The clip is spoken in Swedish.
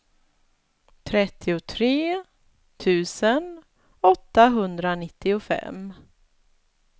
trettiotre tusen åttahundranittiofem